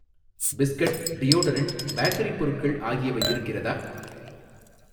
Biscuit, deodorant, bakery பொருட்கள் ஆகியவை இருக்கிறதா?